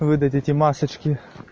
вы дадите масочки